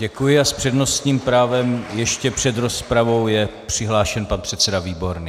Děkuji a s přednostním právem ještě před rozpravou je přihlášen pan předseda Výborný.